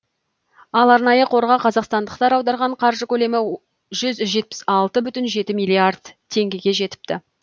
ал арнайы қорға қазақстандықтар аударған қаржы көлемі жүз алпыс жеті бүтін оннан бес миллиард теңгеге жетіпті